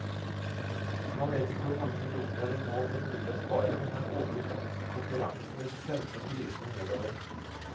Han vet ikke hvor mange millioner det nå blir mulig å spare, men er overbevist om at konkurransen vil sende prisene nedover.